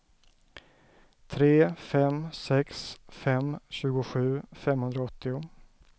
tre fem sex fem tjugosju femhundraåttio